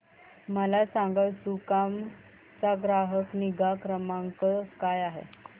मला सांगाना सुकाम चा ग्राहक निगा क्रमांक काय आहे